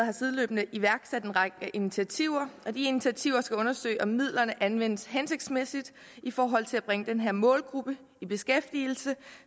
har sideløbende iværksat en række initiativer og de initiativer skal undersøge om midlerne anvendes hensigtsmæssigt i forhold til at bringe den her målgruppe i beskæftigelse